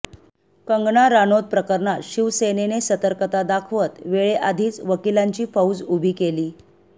कंगणा राणौत प्रकरणात शिवसेनेने सतर्कता दाखवत वेळेआधीच वकिलांची फौज उभी केली